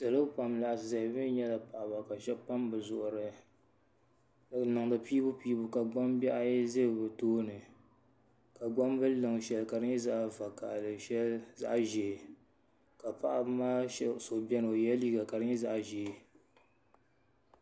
Salo pam n laɣasi ʒɛya bi mii nyɛla paɣaba bi niŋdi piibu piibu ka gbambihi ayi ʒɛ doo tooni ka gbambilo liŋ shɛli ka di nyɛ zaɣ vakaɣali shɛli zaɣ ʒiɛ ka paɣaba maa so biɛni o yɛla liiga ka di nyɛ zaŋ ʒiɛ